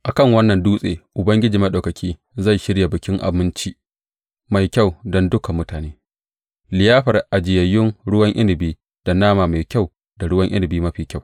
A kan wannan dutse Ubangiji Maɗaukaki zai shirya bikin abinci mai kyau don dukan mutane, liyafar ajiyayyen ruwan inabi da nama mafi kyau da ruwan inabi mafi kyau.